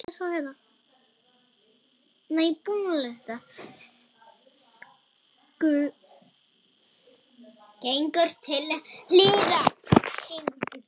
Gengur til hliðar.